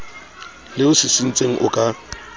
le o sisintseng o ka